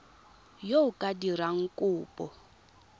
yo o ka dirang kopo